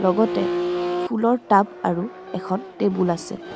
লগতে ফুলৰ টাব আৰু এখন টেবুল আছে.